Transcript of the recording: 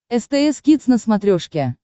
стс кидс на смотрешке